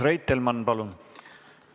Urmas Reitelmann, palun!